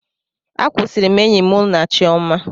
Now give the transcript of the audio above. Akwusiri m enyi mụ na Chiọma.